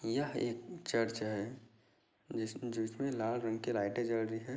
यह एक चर्च है जिस-जिसमे लाल रंग की लाईटे जल रही है।